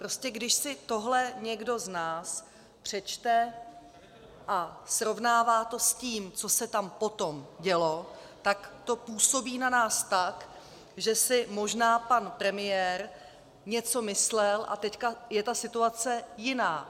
Prostě když si tohle někdo z nás přečte a srovnává to s tím, co se tam potom dělo, tak to působí na nás tak, že si možná pan premiér něco myslel, a teď je ta situace jiná.